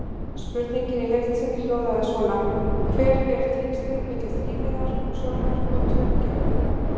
Spurningin í heild sinni hljóðaði svona: Hver eru tengslin milli þrívíðrar sjónar og tveggja augna?